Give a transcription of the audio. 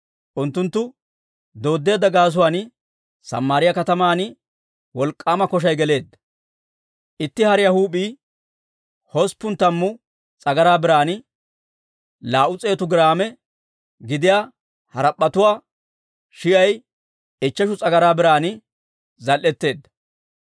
Unttunttu dooddeedda gaasuwaan Samaariyaa kataman wolk'k'aama koshay geleedda; itti hariyaa huup'ii hosppun tammu s'agaraa biran, laa"u s'eetu giraame gidiyaa harap'p'etuwaa shi'ay ichcheshu s'agaraa biran zal"etteedda.